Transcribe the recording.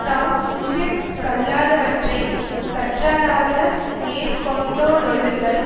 தாம் உய்யக் கல்லாதவற்றைக் கற்றாராக மேற்கொண்டொழுகல்